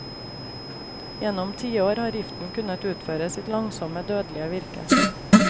Gjennom tiår har giften kunnet utføre sitt langsomme, dødelige virke.